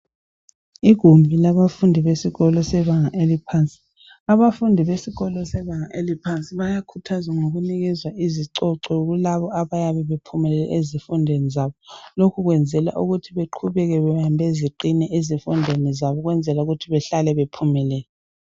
igumbi labafundi besikolo sebanga eliphansi abafundi besikolo sebanga eliphansi bayakhuthazwa ngokunikezwa izicoco kulabo abayabe bephumelele ezifundweni zabo lokhu kwenzelwa ukuthi beqhubeke bebambeziqine ezifundweni zabo ukwenzela ukuthi behlale bephumelele